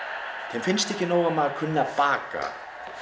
þeim finnst ekki nóg að maður kunni að baka